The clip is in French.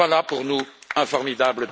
Voilà pour nous un formidable